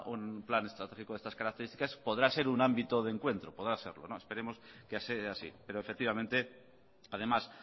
un plan estratégico de estas características podrá ser un ámbito de encuentro podrá serlo esperemos que sea así pero efectivamente además